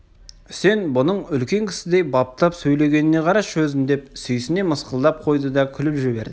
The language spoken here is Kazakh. үсен бұның үлкен кісідей баптап сөйлегеніне қарашы өзін деп сүйсіне мысқылдап қойды да күліп жіберді